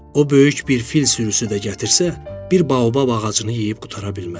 O böyük bir fil sürüsü də gətirsə, bir baobab ağacını yeyib qutara bilməz.